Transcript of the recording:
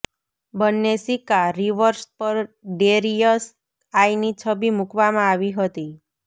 બંને સિક્કા રિવર્સ પર ડેરિયસ આઇ ની છબી મૂકવામાં આવી હતી